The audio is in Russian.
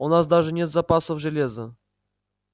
у нас даже нет запасов железа